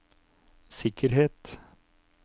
sikkerhet